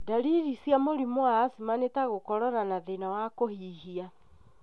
Dariri cia mũrimũ wa asthma nĩ ta gũkorora na thĩna wa kũhihia.